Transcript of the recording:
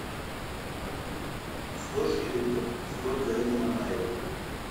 сто шиллингов сколько это на найры